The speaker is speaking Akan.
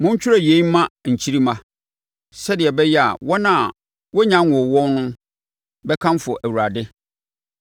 Montwerɛ yei mma nkyirimma, sɛdeɛ ɛbɛyɛ a wɔn a wɔnnya nwoo wɔn bɛkamfo Awurade;